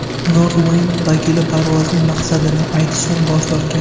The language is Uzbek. Nordwind vakili parvozning maqsadini aytishdan bosh tortgan.